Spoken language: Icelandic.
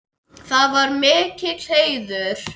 Það var mikill heiður.